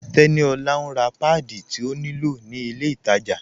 Teníolá n rá pádí tí ó ní lọ̀ ni ilẹ̀ ìtajá